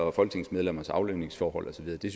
og folketingsmedlemmers aflønningsforhold og så videre det